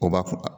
O b'a kun